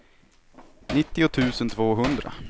nittio tusen tvåhundra